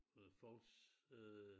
Øh folks øh